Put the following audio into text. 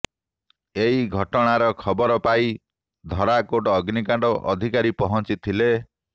ଏହି ଘଟଣାର ଖବର ପାଇ ଧରାକୋଟ ଅଗ୍ନିକାଣ୍ଡ ଅଧିକାରୀ ପହଁଚିଥିଲେ